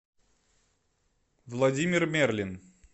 владимир мерлин